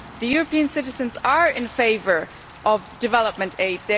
European citizens are in favour of development aid.